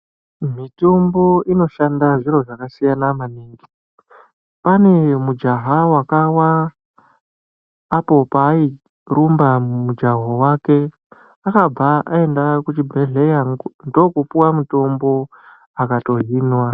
Mitombo inoshanda zviro zvakasiyana maningi, pane mujaha wakawa apo paayirumba mumujaho wake ,akabva ayenda kuchibhedhlera ndokupuwa mutombo, akatohinwa.